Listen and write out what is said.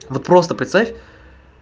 вот просто представь